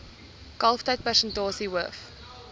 kalftyd persentasie hoof